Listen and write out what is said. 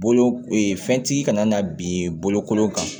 Bolo ee fɛntigi kana na bin bolokolon kan